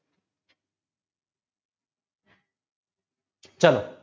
ચાલો